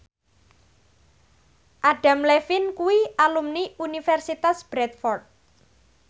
Adam Levine kuwi alumni Universitas Bradford